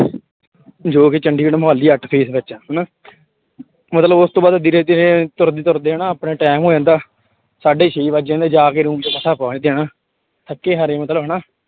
ਜੋ ਕਿ ਚੰਡੀਗੜ੍ਹ ਮੁਹਾਲੀ ਅੱਠ ਫੇਸ ਵਿੱਚ ਆ ਹਨਾ ਮਤਲਬ ਉਸ ਤੋਂ ਬਾਅਦ ਵੀਰੇ ਜੇ ਤੁਰਦੇ ਤੁਰਦੇ ਹਨਾ ਆਪਣੇ time ਹੋ ਜਾਂਦਾ ਸਾਢੇ ਛੇ ਵੱਜ ਜਾਂਦੇ ਆ, ਜਾ ਕੇ room ਚ ਮਸਾਂ ਪਹੁੰਚਦੇ ਹਾਂ ਹਨਾ ਥੱਕੇ ਹਾਰੇ ਮਤਲਬ ਹਨਾ।